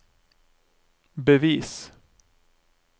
bevis